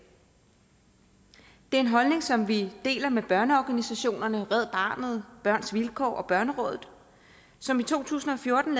det er en holdning som vi deler med børneorganisationerne red barnet børns vilkår og børnerådet som i to tusind og fjorten